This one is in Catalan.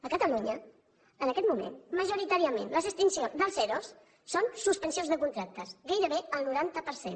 a catalunya en aquest moment majoritàriament l’extinció la dels ero són suspensions de contracte gairebé el noranta per cent